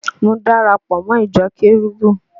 Mo dara pọ̀ mọ́ ìjọ kérúbù